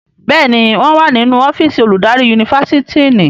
Béèni wón wá nínú ọ́fíìsì oludari Yunifásitìni.